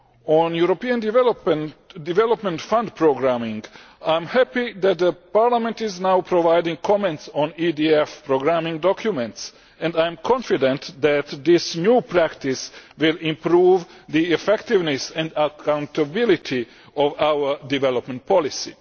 On European Development Fund programming, I am happy that Parliament is now providing comments on EDF programming documents and I am confident that this new practice will improve the effectiveness and accountability of our development policy.